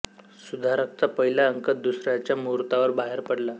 सुधारक चा पहिला अंक दसऱ्याच्या मुहूर्तावर बाहेर पडला